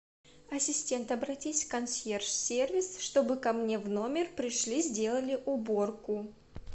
ассистент обратись в консьерж сервис чтобы ко мне в номер пришли сделали уборку